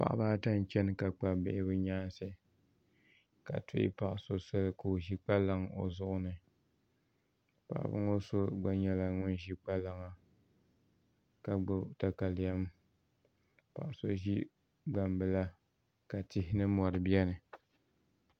Paɣaba ata n chɛna ka kpabi bɛ bihi bɛ nyaanasi ka tuhi paɣaso Soli ka o ʒi kpalaŋa o zuɣuni paɣaba ŋɔ so gba nyɛla ŋun ʒi kpalaŋa ka gbibi takalem paɣaso ʒi gnamla ka tihi ni mori beni.